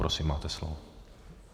Prosím, máte slovo.